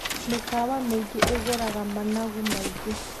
Mĩkawa mĩingĩ ĩgũraga managu maingĩ.